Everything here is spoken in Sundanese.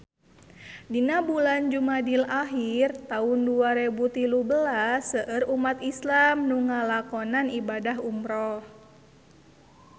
Dina bulan Jumadil ahir taun dua rebu tilu belas seueur umat islam nu ngalakonan ibadah umrah